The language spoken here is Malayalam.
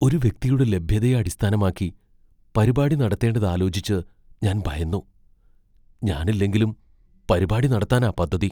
ഒരു വ്യക്തിയുടെ ലഭ്യതയെ അടിസ്ഥാനമാക്കി പരിപാടി നടത്തേണ്ടതാലോചിച്ച് ഞാൻ ഭയന്നു, ഞാനില്ലെങ്കിലും പരിപാടി നടത്താനാ പദ്ധതി.